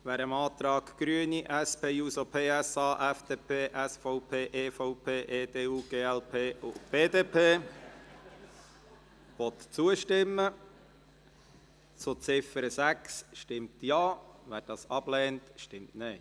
Wer dem Antrag Grüne/SP-JUSO-PSA/FDP/SVP/EVP/EDU/glp/BDP zur Ziffer 6 zustimmen will, stimmt Ja, wer diesen ablehnt, stimmt Nein.